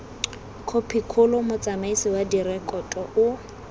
khopikgolo motsamaisi wa direkoto o